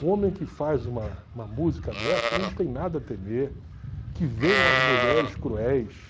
Um homem que faz uma uma música dessa não tem nada a temer, que venham as mulheres cruéis.